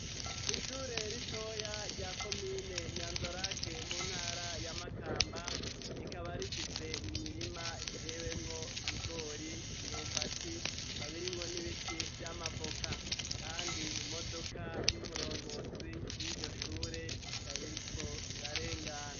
Ishure ritoya rya komine nyanza- lac mu ntara ya Makamba, rikaba rifise imirima itewemwo ibigori, imyumbati, ikabirimwo n'ibiti vy'amavoka kandi imodoka y'umurongozi w'iryo shure ikaba iriko irarengana.